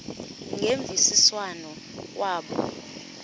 ngemvisiswano r kwabo